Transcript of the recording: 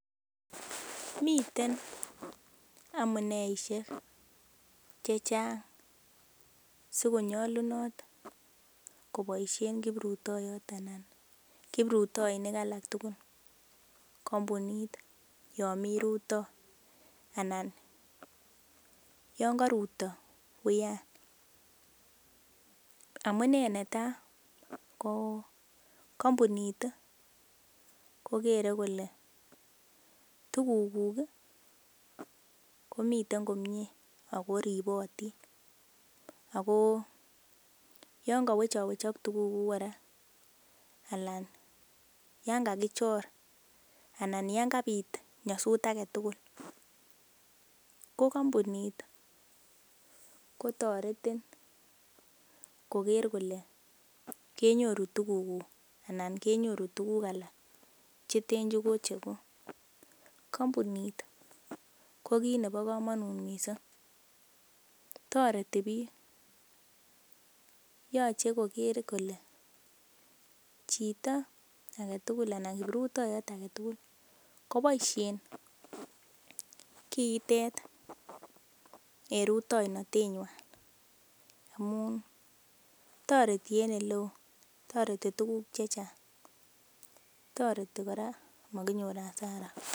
Miten amuneisiek chechang sikonyolunot koboisien kiprutoiyot anan kiprutoinik alak tugul kampunit yon mii rutoo anan yon koruto uyan, amunee netaa ko kampunit kokere kole tuguk kuk ih komiten komie ako ribotin ako yon kowechok tuguk kuk kora ana yan kakichor ana yan kabit nyosut aketugul ko kampunit kotoretin koker kole kenyoru tuguk kuk ana kenyoru tuguk alak cheten kokocheguk kampunit ko kit nebo komonut missing toreti biik yoche koker kole chito aketugul ana kiprutoiyot aketugul koboisien kiitet en rutoinotet nywan amun toreti en oleoo, toreti tuguk chechang toreti kora mokinyor hasara